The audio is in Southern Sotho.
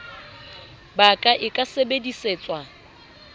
ba ka e ka sebedisetswa